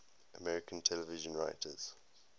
american television writers